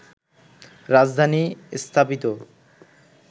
রাজধানী স্থাপিত